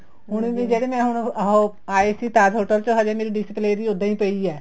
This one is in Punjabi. ਹੁਣ ਜਿਹੜੇ ਮੈਂ ਹੁਣ ਆਉ ਆਏ ਸੀ Taj hotel ਚ ਅਜੇ ਮੇਰੀ display ਹੀ ਉੱਦਾਂ ਈ ਪਈ ਹੈ